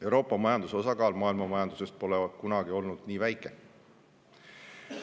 Euroopa majanduse osakaal maailmamajandusest pole kunagi olnud nii väike.